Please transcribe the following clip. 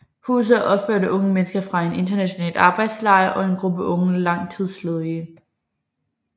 Huset er opført af unge mennesker fra en international arbejdslejr og en gruppe unge langtidsledige